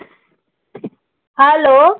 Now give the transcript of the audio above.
Hello.